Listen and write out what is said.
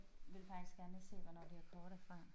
Vil faktisk gerne se hvornår det her kort er fra